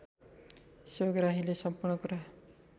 सेवाग्राहीले सम्पूर्ण कुरा